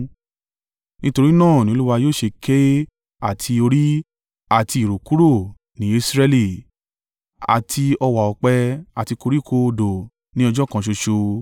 Nítorí náà ni Olúwa yóò ṣe ké àti orí àti ìrù kúrò ní Israẹli, àti ọ̀wá ọ̀pẹ àti koríko odò ní ọjọ́ kan ṣoṣo,